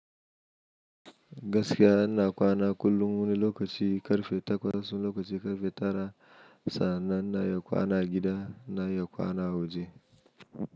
Gaskiya ina kwana kullum wani lokaci ƙarfe takwas, wani lokaci ƙarfe tara. Sannan na yi kwana a gida, na yi kwana a waje.